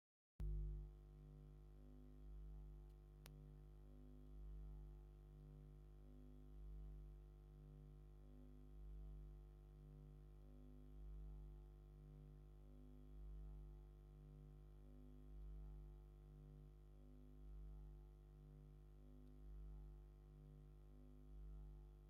ውዕዉዕ ትርኢት ጎደና! ጸሓይን ንጹርን መዓልቲ እዩ። ነዋሕቲ ኣግራብን ስየታትን ኣብቲ ጐደና ተሰሪዖም ኣለዉ። ብዙሓት ሰባት ኣብ ጽርግያን ኣብ ጽርግያን ይኸዱ። ሓደ ሰብ ጻዕዳ ክዳን ተኸዲኑ ክኸይድ እንከሎ፡ ካልእ ድማ ተንበርኪኹ ገለ ክገብር ይረአ።